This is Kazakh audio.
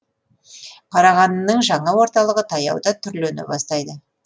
қарағандының жаңа орталығы таяуда түрлене бастайды